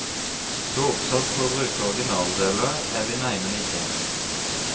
Så oppsatt på å bruke originaldeler er vi neimen ikke.